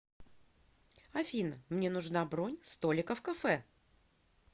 афина мне нужна бронь столика в кафе